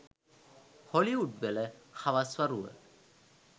හොලිවුඩ්වල හවස් වරුව